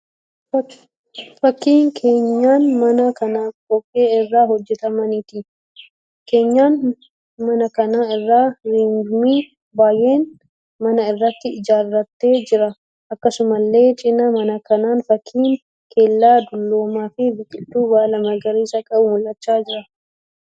Fakkii keenyan manaa kan dhoqqee irraa hojjetameeti. Keenyan manaa kana irra rirmi biyyeen mana irratti ijaarratee jira. Akkasumallee cina mana kanaan fakkiin kellaa dulloomaa fi biqiltuu baala magariisa qabu mul'achaa jiru.